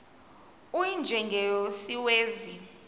u y njengesiwezi